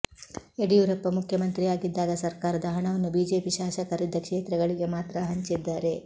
ಯಡಿಯೂರಪ್ಪ ಮುಖ್ಯಮಂತ್ರಿಯಾಗಿದ್ದಾಗ ಸರ್ಕಾರದ ಹಣವನ್ನು ಬಿಜೆಪಿ ಶಾಸಕರಿದ್ದ ಕ್ಷೇತ್ರಗಳಿಗೆ ಮಾತ್ರ ಹಂಚಿದ್ದಾರೆ